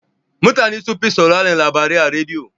Mutana sunfi sauraran labarai a rediyo.